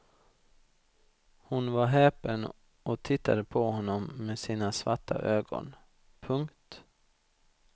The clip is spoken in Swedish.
Hon var häpen och tittade på honom med sina svarta ögon. punkt